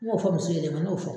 N y'o fɔ muso ɲɛna bi , n yeo fɔ